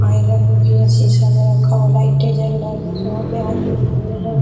Iron भी है सीसा मे रखा हुआ है लाइटें जल रहा है यहाँ पे आदमी भी है ।